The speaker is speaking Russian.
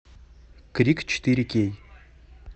крик четыре кей